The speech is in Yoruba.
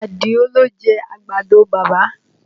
Àdìó ló jẹ àgbàdo bàbá